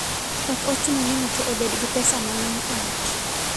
Ok ochuno ni ng'ato obed gi pesa mang'eny e ot.